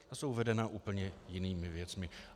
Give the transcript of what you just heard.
Ta jsou vedena úplně jinými věcmi.